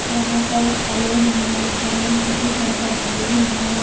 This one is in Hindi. यहां पर एक सैलून है जिसका नेम सिटी सेंटर सैलून है।